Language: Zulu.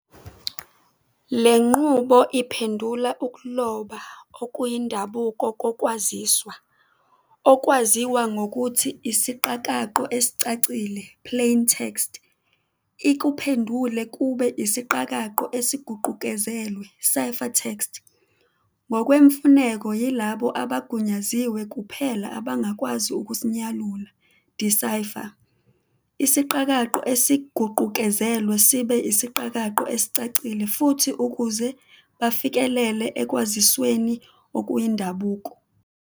Lenqubo iphendula ukuloba okuyindabuko kokwaziswa, okwaziwa ngokuthi isiqakaqo esicacile "plaintext", ikuphendule kube isiqakaqo esiguqukezelwe "ciphertext". Ngokwemfuneko, yilabo abagunyaziwe kuphela abangakwazi ukusinyalula "decipher" isiqakaqo esiguqukezelwe sibe isiqakaqo esicacile futhi ukuze bafikelele ekwazisweni okuyindabuko.